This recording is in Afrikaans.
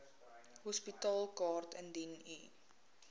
hospitaalkaart indien u